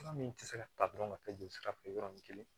Fura min tɛ se ka ta dɔrɔn ka taa jolisira fɛ yɔrɔnin kelen